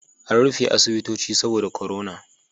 An rufe asibitoci saboda korona